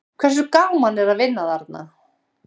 Hversu gaman er að vinna þarna?